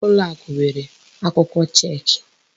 Ụlọakụ nwèrè akwụkwọ chek.